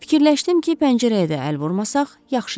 Fikirləşdim ki, pəncərəyə də əl vurmasaq, yaxşıdır.